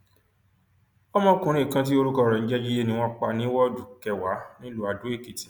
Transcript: ọmọkùnrin kan tí orúkọ rẹ ń jẹ jíde ni wọn pa ní woodu kẹwàá nílùú adoekìtì